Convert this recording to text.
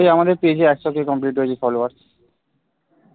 ওই আমাদের page এ একশো কে complete হয়েছে followers